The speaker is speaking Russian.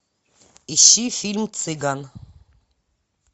ищи фильм цыган